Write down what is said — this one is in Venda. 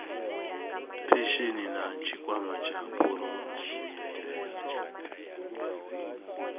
phesheni na tshikwama tsha phurovidende